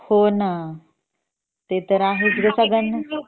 हॉ ंना ते तर आहेच ग सगळ्या लोकांना